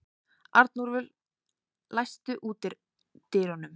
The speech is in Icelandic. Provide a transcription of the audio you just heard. Arnúlfur, læstu útidyrunum.